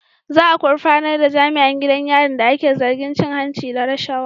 Za a gurfanar da jami'an gidan yarin da ake zargi da cin hanci da rashawa.